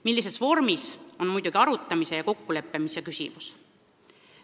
Millises vormis, see on muidugi arutamise ja kokkuleppimise küsimus.